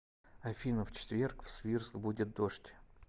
афина в четверг в свирск будет дождь